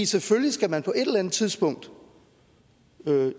selvfølgelig skal man på et eller andet tidspunkt